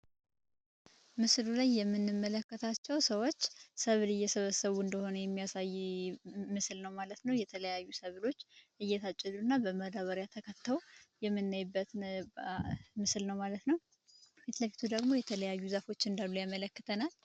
ምስሉ ላይ የምንመለከታቸው ሰዎች ሰብል እየሰበሰቡ እንደሆነ የሚያሳይ ምስል ነው ማለት ነው የተለያዩ ሰብሎች እየታጨዱ እና በመዳበሪያ ተከተው የምናይበት ምስል ነው ማለት ነው ፊትለፊቱ ደግሞ የተለያዩ ዘፎች እንዳሉ ያመላክተናል።